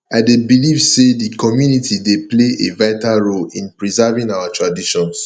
i dey believe say di community dey play a vital role in preserving our traditions